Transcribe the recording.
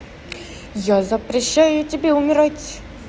я запрещаю тебе умирать